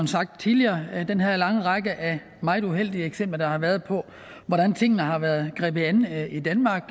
sagt tidligere i den her lange række af meget uheldige eksempler der har været på hvordan tingene har været grebet an i danmark